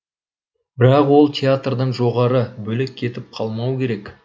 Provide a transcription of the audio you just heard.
бірақ ол театрдан жоғары бөлек кетіп қалмауы керек